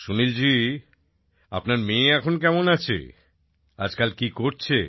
সুনীল জি আপনার মেয়ে এখন কেমন আছে আজকাল কী করছে